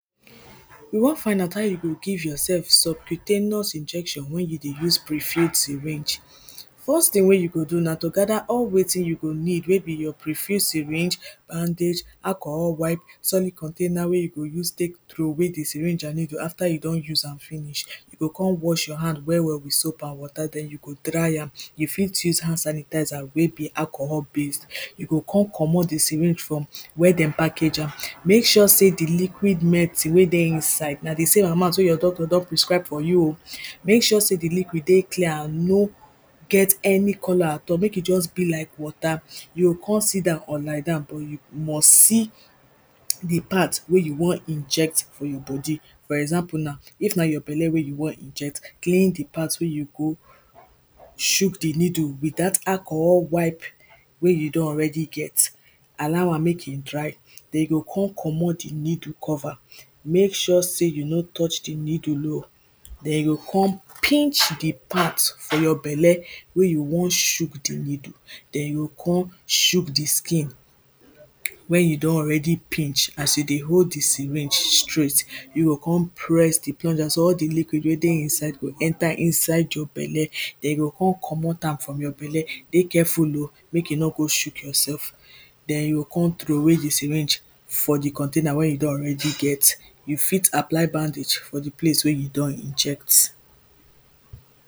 we won find out how you go give yourself subcutaneous injection wen you dey use prefute syringe first tin wey you go do na to gather all wetin you go need wey be your prefuse syringe, bandage, alcohol wipe, solid container wey you go use take throway di syringe and needle after you don use am finish. you go kon wash your hand well well with soap and water den you go dry am you fit use hand sanitizer wey be alcohol base you go come comot the syringe from where dem package am make sure say di liquid medicine wey dey inside na di same amount wey your doctor don prescribe for you o, make sure say di liquid dey clear no get any color at all make e just be like water, you go kon sit down or lie down but you must see d part wey you won inject for your body. for example now, if na your belle wey you won inject, clean di part wey you go shook di needle with dat alcohol wipe wey you don already get allow am make e dry. den you go con commot di needle cover, make sure say you no touch di needle oh, den you go kon pinch di part for your belle wey you won shook di needle. den you go kon shook di skin wen you don already pinch as you dey hold di syringe straight, you go kon press di plunger so dat all di liquid wey dey inside go enter inside your belle.. den you go con commot am from your belle. dey careful o, make you nor go shook yourself den you o con throway di syringe for the container wey you don already get. you fit apply bandage for di place wey you don inject.